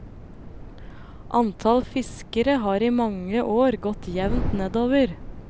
Antall fiskere har i mange år gått jevnt nedover.